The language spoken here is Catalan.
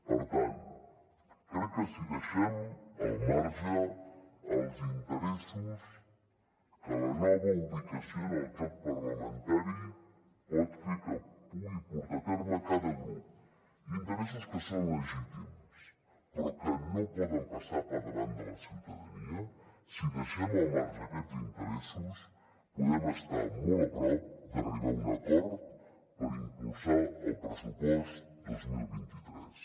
per tant crec que si deixem al marge els interessos que la nova ubicació en el joc parlamentari pot fer que pugui portar a terme cada grup interessos que són legítims però que no poden passar per davant de la ciutadania si deixem al marge aquests interessos podem estar molt a prop d’arribar a un acord per impulsar el pressupost dos mil vint tres